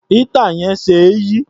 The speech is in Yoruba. Éétà yẹn ṣe é yí.